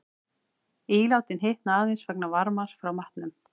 Ílátin hitna aðeins vegna varmans frá matnum.